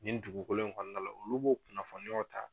Nin dugukolo in kɔnɔna la olu b'o kunnafoniyaw ta